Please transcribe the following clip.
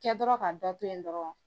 Kɛ dɔrɔn ka dɔ to yen dɔrɔn